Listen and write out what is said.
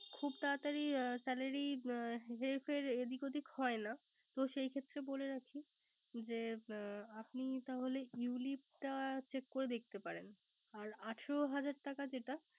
খুব তারাতারি Salary হের ফের এদিক ওদিক হয়না। তো সেই ক্ষেত্রে বলে রাখি। যে ্আপনি তাহলে You lip টা Check করে দেখতে পারেন। আর আঠারো হাজার টাকা যেটা